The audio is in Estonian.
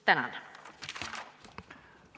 Tänan!